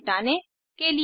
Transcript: इसको सारांशित करते हैं